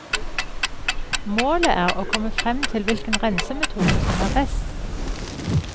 Målet er å komme frem til hvilken rensemetode som er best.